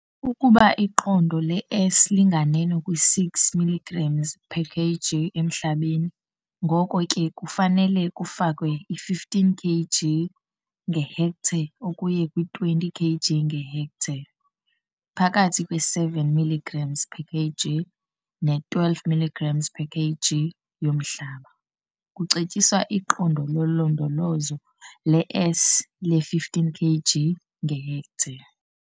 Ukuba iqondo le-S linganeno kwi-6 mg, kg emhlabeni, ngoko ke kufanele kufakwe i-15 kg, ngehektare ukuya kwi-20 kg, ngehektare. Phakathi kwe-7 mg, kg ne-12 mg, kg yomhlaba, kucetyiswa iqondo lolondolozo le-S le-15 kg, ngehektare.